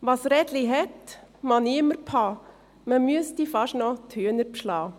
Was Rädli het, mag niemer bha, me müessti fasch no d‘Hüener bschla.